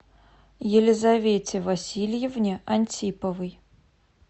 елизавете васильевне антиповой